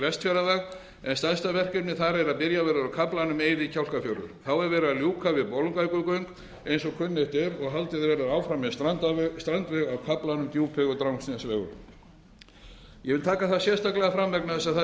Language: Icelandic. vestfjarðaveg en stærsta verkefnið þar er að byrjað verður á kaflanum eiði kjálkafjörður þá er verið að ljúka við bolungarvíkurgöng eins og kunnugt er og haldið verður áfram með strandaveg á kaflanum djúpvegur drangsnesvegur ég vil taka það sérstaklega fram vegna þess að það hefur verið